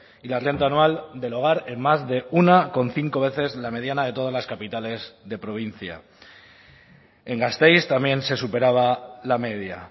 y la renta anual del hogar en más de uno coma cinco veces la mediana de todas las capitales de provincia en gasteiz también se superaba la media